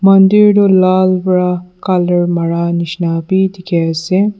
ante etu laal pra colour mara misna dekhi ase.